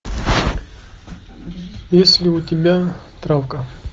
есть ли у тебя травка